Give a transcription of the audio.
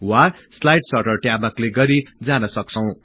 वा slide sorter ट्याबमा click गरि जान सक्छौं